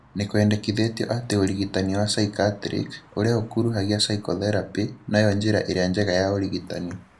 Nĩkwendekithĩtio atĩ ũrigitani wa psychiatric ( ũrĩa ũkuruhagia psychotherapy) noyo njĩra ĩrĩa njega ya ũrigitani